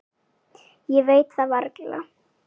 Ég veit það varla.